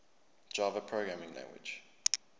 java programming language